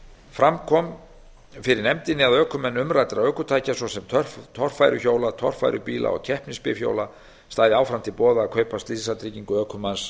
fram kom fyrir nefndinni að ökumenn umræddra ökutækja svo sem torfæruhjóla torfærubíla og keppnisbifhjóla stæði áfram til boða að kaupa slysatryggingu ökumanns